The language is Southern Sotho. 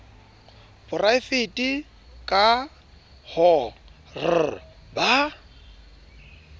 poraevete k h r ba